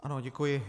Ano, děkuji.